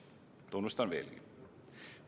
Tunnustan veelgi.